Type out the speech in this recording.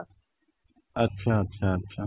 ଆଚ୍ଛା, ଆଚ୍ଛା ଆଚ୍ଛା